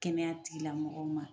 Kɛnɛya tigila mɔgɔw ma